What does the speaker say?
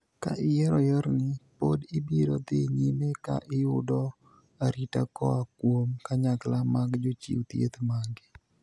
Ka iyiero yorni, pod ibiro dhii nyime ka iyudo arita koa kuom kanyakla mag jochiw thieth magi.